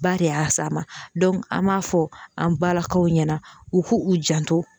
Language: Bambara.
Ba de y'a s'a ma an b'a fɔ an balakaw ɲɛna u k'u janto